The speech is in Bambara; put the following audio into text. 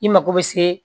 I mago bɛ se